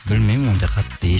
білмеймін ондай қатты